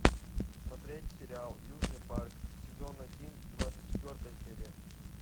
смотреть сериал южный парк сезон один двадцать четвертая серия